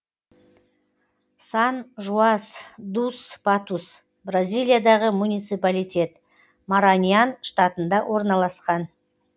сан жуас дус патус бразилиядағы муниципалитет мараньян штатында орналасқан